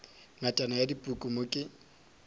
ngatana ya dipuku mo ke